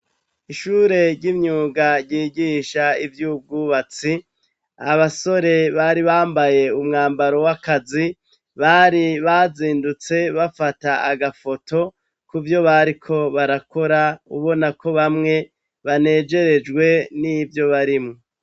Ishure ry'imyuga ryigisha ivy'ububatsi, abasore bari bambaye umwambaro w'akazi bari bazindutse bafata agafoto kuvyo bariko barakora, ubona ko bamwe banejerejwe n'ivyo barimwo.